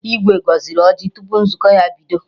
Igwe gọziri ọjị tupu nzukọ ha bido